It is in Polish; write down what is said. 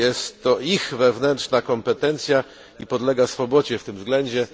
Jest to ich wewnętrzna kompetencja i podlega swobodzie w tym względzie.